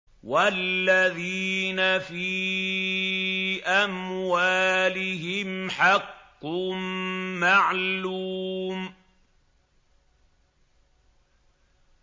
وَالَّذِينَ فِي أَمْوَالِهِمْ حَقٌّ مَّعْلُومٌ